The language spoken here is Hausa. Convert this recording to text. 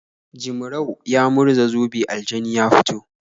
Jimrau ya murza zobe aljani ya fito.